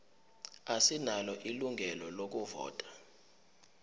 asinalo ilungelo lokuvota